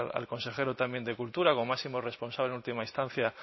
al consejero también de cultura como máximo responsable de última instancia